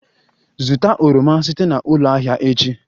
Zụta oroma site na ụlọ ahịa echi!